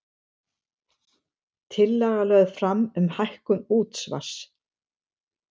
Tillaga lögð fram um hækkun útsvars